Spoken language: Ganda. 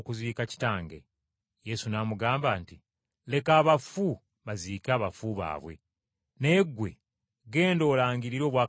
Yesu n’amugamba nti, “Leka abafu baziike abafu baabwe, naye ggwe genda olangirire obwakabaka bwa Katonda.”